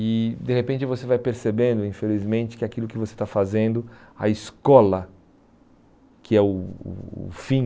E, de repente, você vai percebendo, infelizmente, que aquilo que você está fazendo, a escola, que é o o o fim,